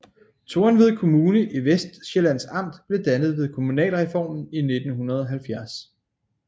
Tornved Kommune i Vestsjællands Amt blev dannet ved kommunalreformen i 1970